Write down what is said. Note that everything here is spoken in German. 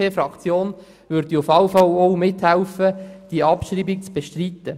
Die BDP-Fraktion würde auf jeden Fall mithelfen, die Abschreibung zu bestreiten.